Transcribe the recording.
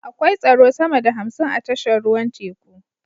Akwai tsaro sama da hamsin a tashar ruwan teku